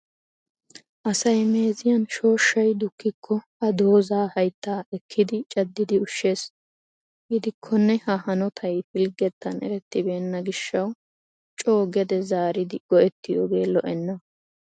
Asay meeziyaan shooshshay dukkiko ha dooza haytta ekkidi caddidi ushshees. Gidikkonne ha hanotay pilggettan erettibeena gishshaw coo gede zaarido go"ettoypohe lo"ena.